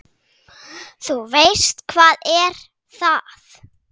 Þú veist, hvað er það?